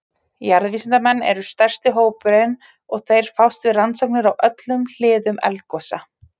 Jarðvísindamenn eru stærsti hópurinn og þeir fást við rannsóknir á öllum hliðum eldgosa.